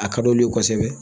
A ka d'olu ye kosɛbɛ